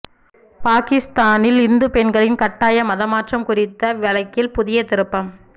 பாகிஸ்தானில் இந்து பெண்களின் கட்டாய மதமாற்றம் குறித்த வழக்கில் புதிய திருப்பம்